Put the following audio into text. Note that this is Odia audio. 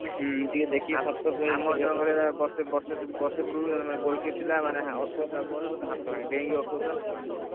ବର୍ଷେ ବର୍ଷେ ପୁରବୁରୁ ଜଣେ goalkeeper ଥିଲା ମାନେ ଅଟକଉ ଥିଲା ball ହାତ ଭାଙ୍ଗି ଗଲା ଡେଇକି ଅଟକଉ ଥିଲା ହାତ ଭାଙ୍ଗି ଗଲା।